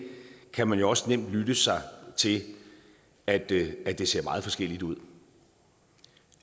kan man jo også nemt lytte sig til at det det ser meget forskelligt ud